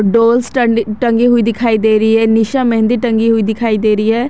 Dolls टंडी टंगी हुई दिखाई दे रही है निशा मेहंदी टंगी हुई दिखाई दे रही है।